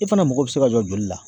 I fɛnɛ mago be se ka jɔ joli la